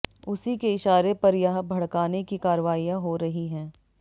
उसी के इशारे पर यह भड़काने की कार्रवाइयां हो रही हैं